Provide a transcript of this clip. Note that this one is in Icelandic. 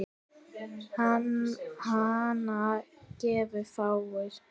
Hana gefa fáir.